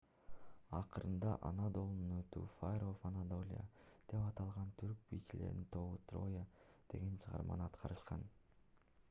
акырында анадолунун оту fire of anadolia деп аталган түрк бийчилеринин тобу троя деген чыгарманы аткарышкан